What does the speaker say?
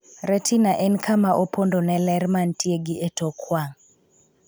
'Retina' en kama opondo ne ler mantie gi etok wang'.